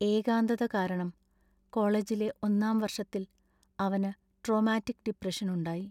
ഏകാന്തത കാരണം കോളേജിലെ ഒന്നാം വർഷത്തിൽ അവനു ട്രോമാറ്റിക് ഡിപ്രഷൻ ഉണ്ടായി.